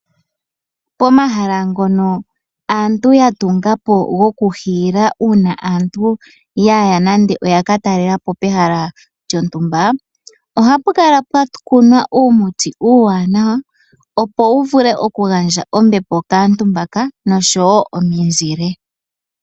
Pomahala ngono aantu yatungapo gokuhiila uuna aantu yaya nande oyaka talelapo pehala lyontumba. Ohapu kala pwakunwa uumuti uuwanawa opo wuvule okugandja ombepo kaantu mbaka noshowo omizile.